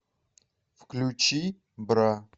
включи бра